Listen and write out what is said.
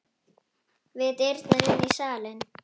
Við dyrnar inn í salinn.